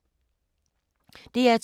DR2